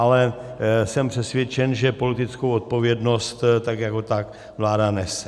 Ale jsem přesvědčen, že politickou odpovědnost tak jako tak vláda nese.